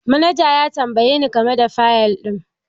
Manaja ya tambaye ni game da fayil ɗin